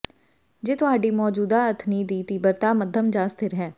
ਜੇ ਤੁਹਾਡੀ ਮੌਜੂਦਾ ਅਥਨੀ ਦੀ ਤੀਬਰਤਾ ਮੱਧਮ ਜਾਂ ਸਥਿਰ ਹੈ